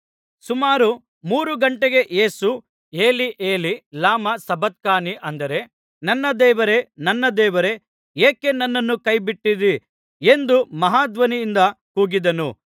ಸುಮಾರು ಮೂರು ಘಂಟೆಗೆ ಯೇಸು ಏಲೀ ಏಲೀ ಲಮಾ ಸಬಕ್ತಾನೀ ಅಂದರೆ ನನ್ನ ದೇವರೇ ನನ್ನ ದೇವರೇ ಏಕೆ ನನ್ನನ್ನು ಕೈಬಿಟ್ಟಿದ್ದೀ ಎಂದು ಮಹಾ ಧ್ವನಿಯಿಂದ ಕೂಗಿದನು